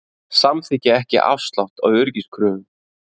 Samþykkja ekki afslátt á öryggiskröfum